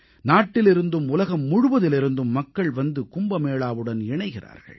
நாட்டிலிருந்தும் உலகம் முழுவதிலிருந்தும் மக்கள் வந்து கும்பமேளாவுடன் இணைகிறார்கள்